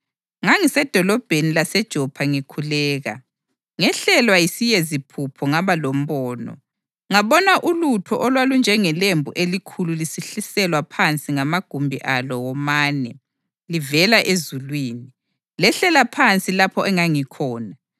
“Ngangisedolobheni laseJopha ngikhuleka, ngehlelwa yisiyeziphupho ngaba lombono. Ngabona ulutho olwalunjengelembu elikhulu lisehliselwa phansi ngamagumbi alo womane livela ezulwini, lehlela phansi lapho engangikhona.